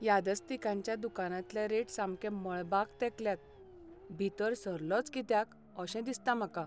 यादस्तिकांच्या दुकानांतले रेट सामके मळबाक तेंकल्यात. भितर सरलोंच कित्याक अशें दिसता म्हाका.